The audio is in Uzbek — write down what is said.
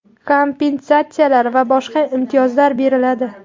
kompensatsiyalar va boshqa imtiyozlar beriladi.